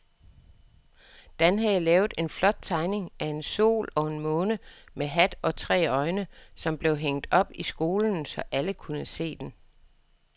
Dan havde lavet en flot tegning af en sol og en måne med hat og tre øjne, som blev hængt op i skolen, så alle kunne se den.